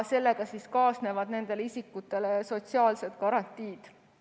Sellega kaasnevad nendele isikutele sotsiaalsed garantiid.